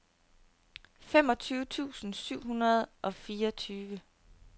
femogtyve tusind syv hundrede og fireogfyrre